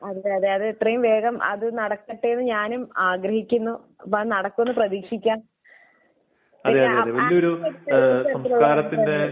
അതെ. അതെ. അത് എത്രയും വേഗം അത് നടക്കട്ടെയെന്ന് ഞാനും ആഗ്രഹിക്കുന്നു. അപ്പോൾ അത് നടക്കുമെന്ന് പ്രതീക്ഷിക്കാം.